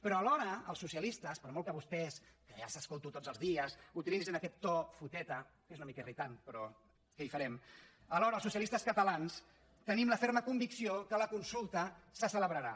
però alhora per molt que vostès que ja els escolto cada dia utilitzin aquest to foteta que és una mica irritant però què hi farem els socialistes catalans tenim la ferma convicció que la consulta se celebrarà